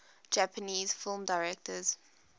japanese film directors